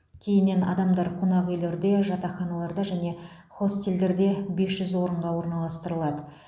кейіннен адамдар қонақ үйлерде жатақханаларда және хостелдерде бес жүз орынға орналастырылады